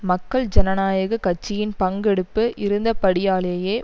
மக்கள் ஜனநாயக கட்சியின் பங்கெடுப்பு இருந்தபடியாலேயே